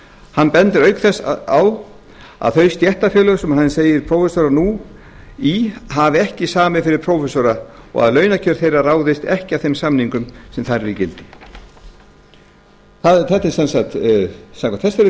hann bendir auk þess á að þau stéttarfélög sem hann segir prófessora nú í hafi ekki samið fyrir prófessora og að launakjör þeirra ráðist ekki af þeim samningum sem þar eru í gildi samkvæmt þessari frétt